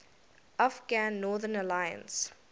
afghan northern alliance